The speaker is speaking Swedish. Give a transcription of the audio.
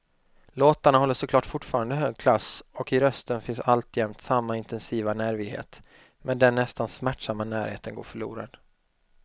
Låtarna håller såklart fortfarande hög klass och i rösten finns alltjämt samma intensiva nervighet, men den nästan smärtsamma närheten går förlorad.